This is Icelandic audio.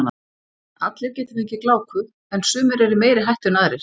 Allir geta fengið gláku en sumir eru í meiri hættu en aðrir.